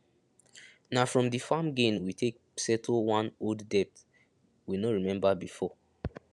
na from the farm gain we take settle one old debt we no remember before